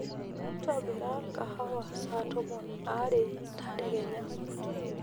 ntobira kahawa saa tomon aare tadekenya